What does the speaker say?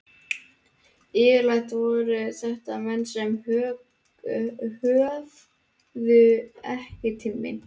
Yfirleitt voru þetta menn sem höfðuðu ekki til mín.